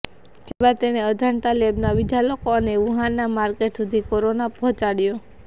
ત્યારબાદ તેણે અજાણતા લેબનાં બીજા લોકો અને વુહાનનાં માર્કેટ સુધી કોરોના પહોંચાડ્યો